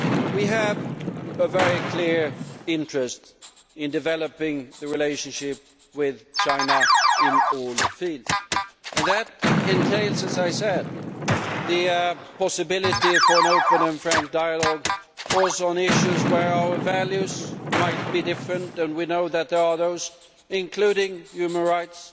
We have a very clear interest in developing the relationship with China in all fields, and that entails, as I said, the possibility for an open and frank dialogue, also on issues where our values might be different, and we know that such issues exist, including human rights,